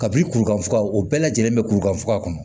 Kabini kurukanfuga o bɛɛ lajɛlen bɛ kurukan foka kɔnɔ